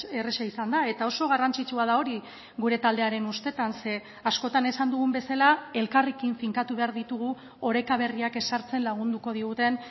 erraza izan da eta oso garrantzitsua da hori gure taldearen ustetan ze askotan esan dugun bezala elkarrekin finkatu behar ditugu oreka berriak ezartzen lagunduko diguten